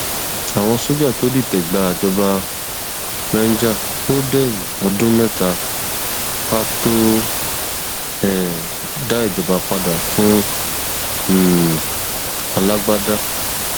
àwọn sójà tó dìtẹgbàjọba niger ó déyìn ọdún méta ká tóó um dá ìjọba padà fún um alágbádá